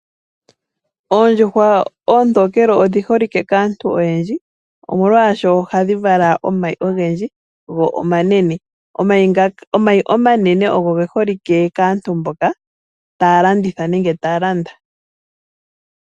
Oondjuhwa oontokele odhi holike kaantu oyendji molwaashono ohadhi vala omayi ogendji go omanene. Omayi omanene ogo geholike kaantu mboka taya landitha nenge taya landa.